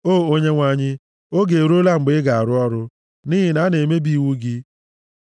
O Onyenwe anyị, oge eruola mgbe ị ga-arụ ọrụ, nʼihi na a na-emebi iwu gị.